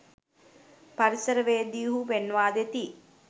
පරිසරවේදිහු පෙන්වාදෙති